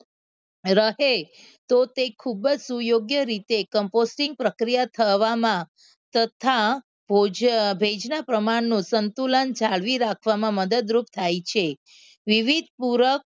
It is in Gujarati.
રહે તો તે ખૂબ જ સુયોગ્ય રીતે કમ્પોસ્ટિક પ્રક્રિયા થવામાં તથા ભેજનું પ્રમાણનું સંતુલન જાળવી રાખવામાં મદદરૂપ થાય છે વિવિધ પૂરબ